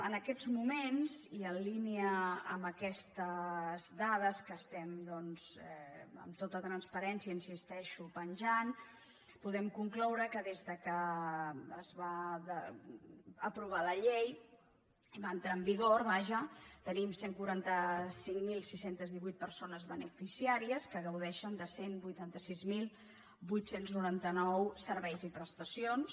en aquests moments i en línia amb aquestes dades que amb tota transparència hi insisteixo pengem podem concloure que des que es va aprovar la llei va entrar en vigor vaja tenim cent i quaranta cinc mil sis cents i divuit persones beneficiàries que gaudeixen de cent i vuitanta sis mil vuit cents i noranta nou serveis i prestacions